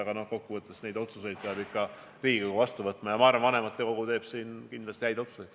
Aga kokkuvõttes peab need otsused ikka Riigikogu vastu võtma ja ma arvan, et vanematekogu teeb siin kindlasti häid otsuseid.